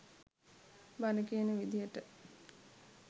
බණ කියන විදියට